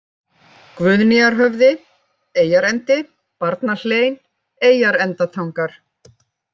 Guðnýjarhöfði, Eyjarendi, Barnahlein, Eyjarendatangar